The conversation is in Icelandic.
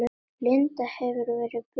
Linda: Hefurðu verið bitinn oft?